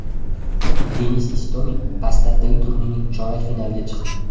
Denis Istomin Bastaddagi turnirning chorak finaliga chiqdi.